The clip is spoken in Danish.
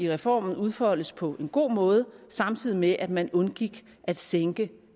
reformen udfoldes på en god måde samtidig med at man undgik at sænke